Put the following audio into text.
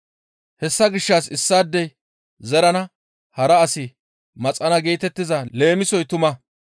Hessa gishshas issaadey zerana; hara asi maxana geetettiza leemisoy tuma.